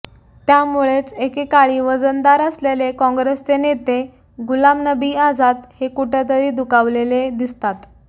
त्यामुळेच एकेकाळी वजनदार असलेले काँग्रेसचे नेते गुलाम नबी आझाद हे कुठेतरी दुखावलेले दिसतात